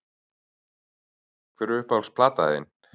Hver er uppáhalds platan þín??